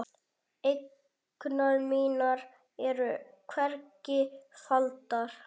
Eignir mínar eru hvergi faldar.